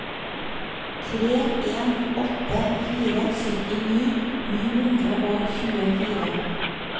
tre en åtte fire syttini ni hundre og tjuefire